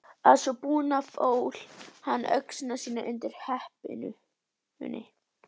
Að svo búnu fól hann öxi sína undir hempunni.